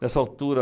Nessa altura,